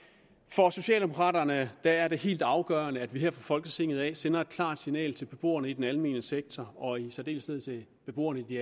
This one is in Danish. for socialdemokraterne er det helt afgørende at vi her fra folketinget sender et klart signal til beboerne i den almene sektor og i særdeleshed til beboerne i